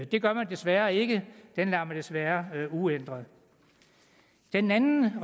det gør man desværre ikke den lader man desværre være uændret den anden